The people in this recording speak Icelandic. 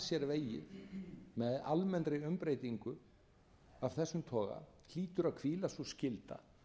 með almennri umbreytingu af þessum toga hlýtur að hvíla sú skylda að